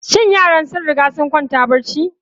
Shin yaran sun riga sun kwanta barci?